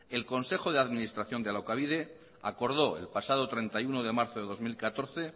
el consejo de administración de alokabide acordó el pasado treinta y uno de marzo de dos mil catorce